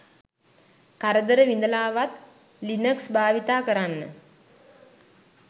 කරදර විඳලාවත් ලිනක්ස් භාවිතා කරන්න